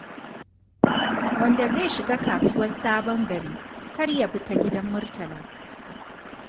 Wanda zai shiga kasuwar Sabon Gari kar ya bi ta Gidan Murtala.